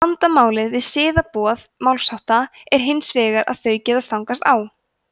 vandamálið við siðaboð málshátta er hins vegar að þau geta stangast á